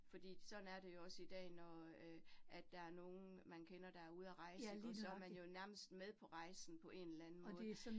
Fordi sådan er det jo også i dag, når øh at der er nogen, man kender, der er ude at rejse ikke også, så man jo nærmest med på rejsen på en eller anden måde